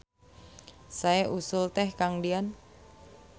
Sae usul teh Kang Dian.